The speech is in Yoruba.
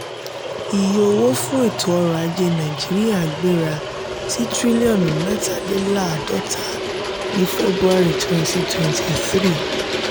iye owó fún ètò orò-ajé nàìjíríà gbéra sí tiriliọnu mẹta-le-laadota ni february twenty twenty three.